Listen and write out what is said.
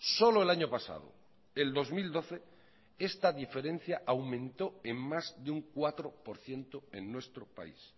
solo el año pasado el dos mil doce esta diferencia aumentó en más de un cuatro por ciento en nuestro país